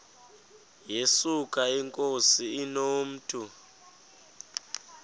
yesuka inkosi inomntu